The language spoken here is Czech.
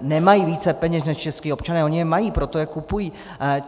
nemají více peněz než čeští občané - oni je mají, proto je kupují.